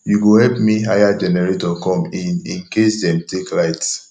you go help me hire generator come in in case dem take light